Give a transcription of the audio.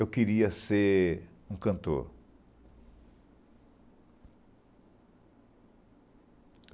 Eu queria ser um cantor.